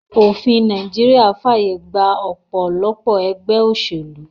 Òfin Naijiria fàyè gba òpòlopò egbé òsèlú